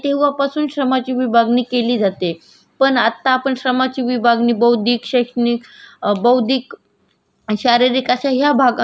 शारीरिक अश्या या भागा यहाँ दोन महत्वाचा अ व ब विभागात करतो पण ज्या वेडी मार्चने श्रमाची विभागणी केली .